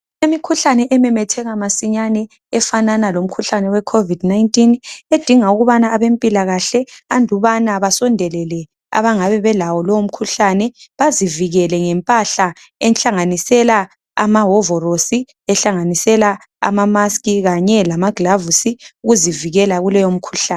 Imikhuhlane ememetheka masinyane efanana lomkhuhlane wecovid 19. Edinga ukubana abempilakahle andubana basondelele abangabe belawo lowo mkhuhlane bazivikele ngempahla ehlanganisela amawovorosi, ehlanganisela ama musk kanye lamaglavusi ukuzivikela kuleyo mkhuhlane.